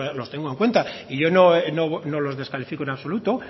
los tengo en cuenta y yo no los descalifico en absoluto